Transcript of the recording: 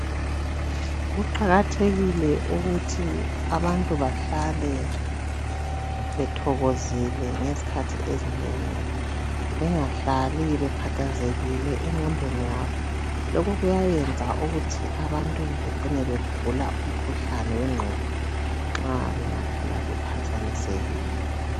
Kuqakathekile kuthi abantu bahlale bethokozile ngezikhathi ezinengi bengahlale bekhathazekile enqondeni yabo lokhu kuthi bencine begula ukhuhlane wenqondo nxa benga hlala bephazamezekile